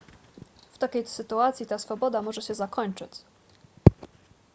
w takiej sytuacji ta swoboda może się zakończyć